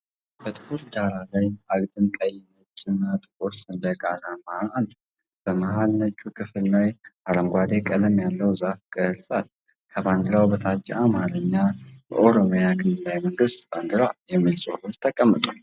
በጥቁር ዳራ ላይ፣ አግድም ቀይ፣ ነጭ እና ጥቁር ሰንደቅ ዓላማ አለ። በመሃል ነጩ ክፍል ላይ አረንጓዴ ቀለም ያለው ዛፍ ቅርጽ አለ። ከባንዲራው በታች በአማርኛ "የኦሮሚያ ክልላዊ መንግስት ባንዲራ" የሚል ጽሑፍ ተቀምጧል።